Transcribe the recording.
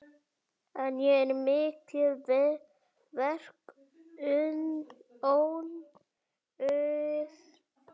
Enn er mikið verk óunnið.